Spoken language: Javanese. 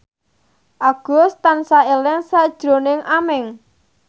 Agus tansah eling sakjroning Aming